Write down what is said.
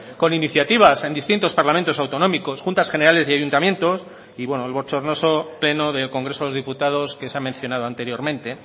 con iniciativas en distintos parlamentos autonómicos juntas generales y ayuntamientos y bueno el bochornoso pleno del congreso de los diputados que se ha mencionado anteriormente